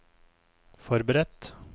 forberedt